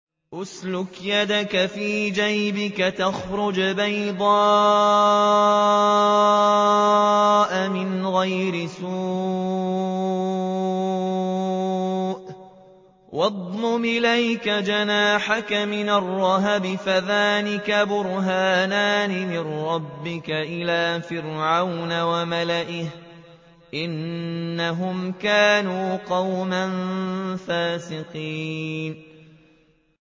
اسْلُكْ يَدَكَ فِي جَيْبِكَ تَخْرُجْ بَيْضَاءَ مِنْ غَيْرِ سُوءٍ وَاضْمُمْ إِلَيْكَ جَنَاحَكَ مِنَ الرَّهْبِ ۖ فَذَانِكَ بُرْهَانَانِ مِن رَّبِّكَ إِلَىٰ فِرْعَوْنَ وَمَلَئِهِ ۚ إِنَّهُمْ كَانُوا قَوْمًا فَاسِقِينَ